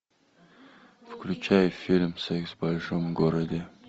включай фильм секс в большом городе